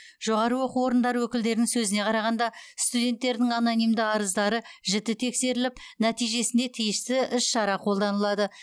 жоғары оқу орындары өкілдерінің сөзіне қарағанда студенттердің анонимді арыздары жіті тексеріліп нәтижесіне тиісті іс шара қолданылады